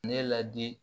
Ne ladi